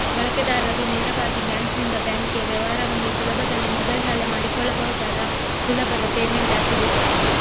ಬಳಕೆದಾರರು ನೇರವಾಗಿ ಬ್ಯಾಂಕ್ ನಿಂದ ಬ್ಯಾಂಕ್ ಗೆ ವ್ಯವಹಾರವನ್ನು ಸುಲಭದಲ್ಲಿ ಮೊಬೈಲ್ ನಲ್ಲೇ ಮಾಡಿಕೊಳ್ಳಬಹುದಾದ ಸುಲಭದ ಪೇಮೆಂಟ್ ಆಪ್ ಇದು